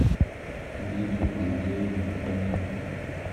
лиду андреевну хоменко